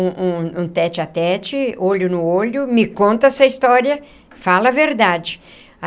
um um um tête-à-tête, olho no olho, me conta essa história, fala a verdade.